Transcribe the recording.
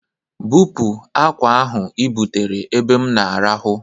Bupu akwa ahụ ibutere n'ebe m na-arahụ!